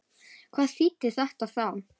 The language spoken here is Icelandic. Hvað þýddi þetta þá?